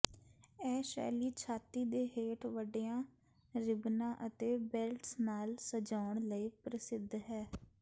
ਇਹ ਸ਼ੈਲੀ ਛਾਤੀ ਦੇ ਹੇਠ ਵੱਡੀਆਂ ਰਿਬਨਾਂ ਅਤੇ ਬੇਲਟਸ ਨਾਲ ਸਜਾਉਣ ਲਈ ਪ੍ਰਸਿੱਧ ਹੈ